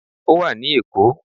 Ó wà ní Èkó